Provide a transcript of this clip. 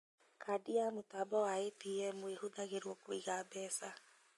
Kandi ya mũtambo wa ATM ĩhũthagĩrwo kũiga mbeca